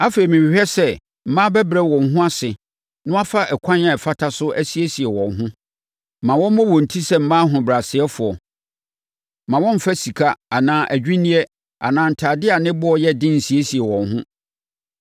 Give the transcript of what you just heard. Afei, mehwehwɛ sɛ mmaa bɛbrɛ wɔn ho ase na wɔafa ɛkwan a ɛfata so asiesie wɔn ho. Ma wɔmmɔ wɔn ti sɛ mmaa ahobrɛasefoɔ; mma wɔmmfa sika anaa adwinneɛ anaa ntadeɛ a ne boɔ yɛ den nsiesie wɔn ho.